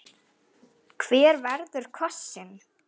Hver verður kosinn?